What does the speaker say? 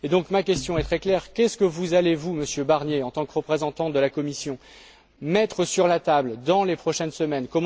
Aussi ma question est elle très claire qu'allez vous, Monsieur Barnier, en tant que représentant de la Commission, mettre sur la table dans les prochaines semaines?